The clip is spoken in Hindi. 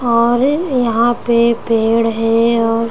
और यहाँ पे पेड़ है और --